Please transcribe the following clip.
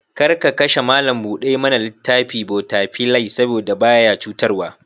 Kar ka kashe malam buɗa mana littafi/ botafilai saboda ba ya cutarwa.